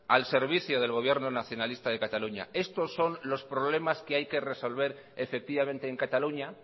al servicio del gobierno nacionalista de cataluña estos son los problemas que hay que resolver efectivamente en cataluña